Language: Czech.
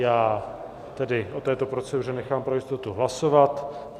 Já tedy o této proceduře nechám pro jistotu hlasovat.